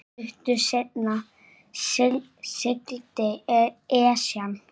Stuttu seinna sigldi Esjan